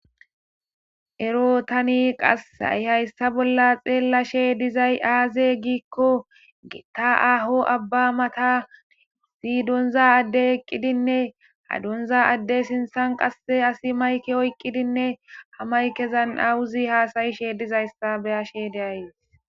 Ero tani qasay hayssa bolla xeellashe dizay aaze giikko getta aho abba mata zi donza adde eqqidinne hadonza adde sinthan qasse asi mayke oyqqidinne ha maykezan awuzi haasayishe dizayssa beyashe deay.